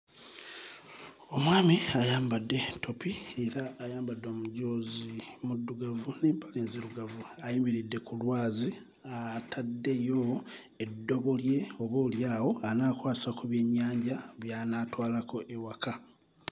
Omwami ayambadde ttopi era ayambadde omujoozi muddugavu n'empale nzirugavu ayimiridde ku lwazi ataddeyo eddobo lye oboolyawo anaakwasa ku byennyanja by'anaatwalako ewaka.